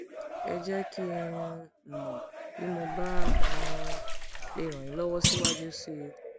ẹ jẹ kí um n mọ bí mo bá um lè ràn yín lọwọ síwájú sí i